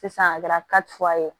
Sisan a kɛra ye